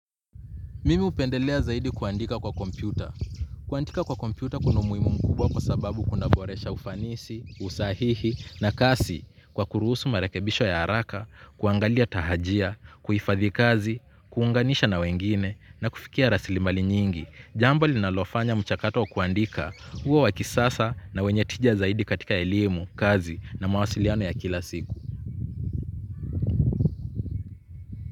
Mimi upendelea zaidi kuandika kwa kompyuta. Kuandika kwa kompyuta kuna umuhimu mkubwa kwa sababu kuna boresha ufanisi, usahihi na kasi kwa kuruhusu marekebisho ya haraka, kuangalia tahajia, kuhifadhi kazi, kuunganisha na wengine na kufikia rasilimali nyingi. Jambo linalo fanya mchakato wa kuandika uwe wakisasa na wenye tija zaidi katika elimu, kazi na mawasiliano ya kila siku.